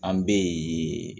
An bɛ